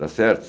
Tá certo?